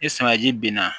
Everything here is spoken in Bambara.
Ni sumanji binna